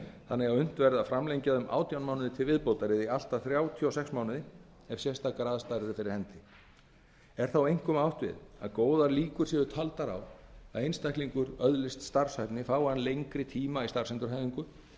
verði að framlengja það um átján mánuði til viðbótar eða í allt að þrjátíu og sex mánuði ef sérstakar aðstæður eru fyrir hendi er þá einkum átt við að góðar líkur séu taldar á því að einstaklingur öðlist starfshæfni fái hann lengri tíma í starfsendurhæfingu og